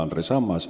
Andres Ammas.